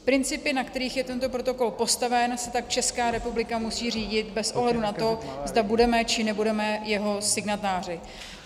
Principy, na kterých je tento protokol postaven, se tak Česká republika musí řídit bez ohledu na to, zda budeme, či nebudeme jeho signatáři.